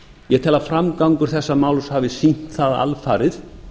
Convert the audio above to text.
ég tel að framgangur þessa máls hafi sýnt það alfarið